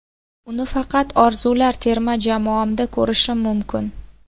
Uni faqat orzular terma jamoamda ko‘rishim mumkin.